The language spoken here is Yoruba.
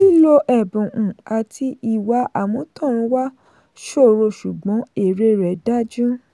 lílo ẹ̀bùn um àti ìwà àmútọ̀runwá ṣòro ṣùgbọ́n èrè rẹ̀ dájú.